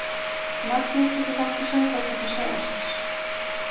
Magni tekur þátt í Söngvakeppni Sjónvarpsins